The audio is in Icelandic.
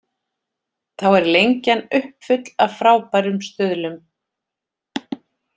Þá er Lengjan uppfull af frábærum stuðlum.